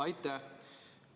Aitäh!